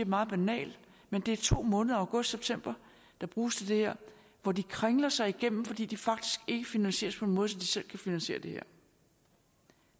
meget banal men det er to måneder august september der bruges til det her hvor de kringler sig igennem fordi de faktisk ikke finansieres på en måde så de selv kan finansiere det her